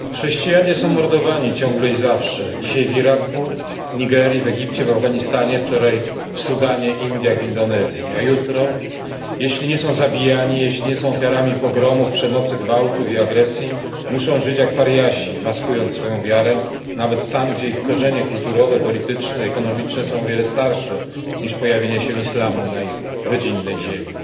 Chrześcijanie są mordowani ciągle i zawsze, dzisiaj w Iraku, Nigerii, Egipcie, Afganistanie, wczoraj w Sudanie, Indiach i Indonezji, a jutro, jeśli nie są zabijani, jeśli nie są ofiarami pogromów, przemocy, gwałtów i agresji, muszą żyć jak pariasi, maskując swoją wiarę nawet tam, gdzie ich korzenie kulturowe, polityczne i ekonomiczne są o wiele starsze niż pojawienie się islamu na ich rodzinnej ziemi.